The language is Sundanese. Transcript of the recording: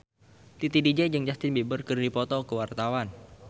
Titi DJ jeung Justin Beiber keur dipoto ku wartawan